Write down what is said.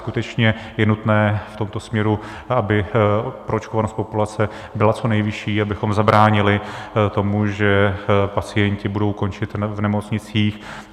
Skutečně je nutné v tomto směru, aby proočkovanost populace byla co nejvyšší, abychom zabránili tomu, že pacienti budou končit v nemocnicích.